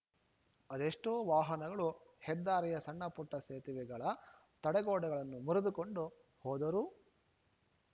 ಅದೆಷ್ಟೋ ವಾಹನಗಳು ಹೆದ್ದಾರಿಯ ಸಣ್ಣ ಪುಟ್ಟಸೇತುವೆಗಳ ತಡೆಗೋಡೆಗಳನ್ನು ಮುರಿದುಕೊಂಡು ಹೋದರೂ